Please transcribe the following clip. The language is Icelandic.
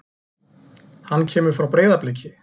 Hann kemur frá Breiðabliki.